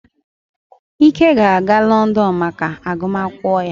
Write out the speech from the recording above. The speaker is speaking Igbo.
Ike ga-aga Lọndọnụ maka agụmakwụkwọ ya